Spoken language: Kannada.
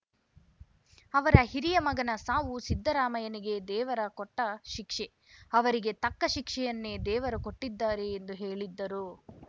ಅವರ ಹಿರಿಯ ಮಗನ ಸಾವು ಸಿದ್ದರಾಮಯ್ಯನಿಗೆ ದೇವರು ಕೊಟ್ಟಶಿಕ್ಷೆ ಅವರಿಗೆ ತಕ್ಕ ಶಿಕ್ಷೆಯನ್ನೇ ದೇವರು ಕೊಟ್ಟಿದ್ದಾರೆ ಎಂದು ಹೇಳಿದ್ದರು